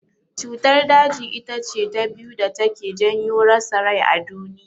Cutar daji itace ta biyu da take janyo rasa rai a duniya.